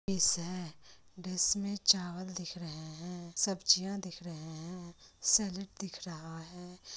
Dish है dish में चावल दिख रहे हैं सब्जियाँ दिख रहें हैं सैलेड दिख रहा है।